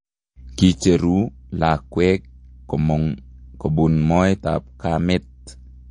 Kicheruu lakwek komong' kobun moeet ab kameet